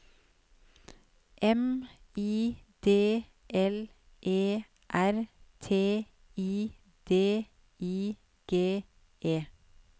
M I D L E R T I D I G E